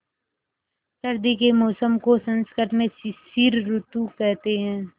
सर्दी के मौसम को संस्कृत में शिशिर ॠतु कहते हैं